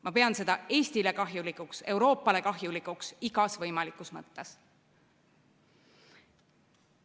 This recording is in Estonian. Ma pean seda Eestile kahjulikuks, Euroopale kahjulikuks igas võimalikus mõttes.